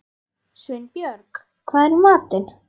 Sveinbjörg, hvað er í matinn?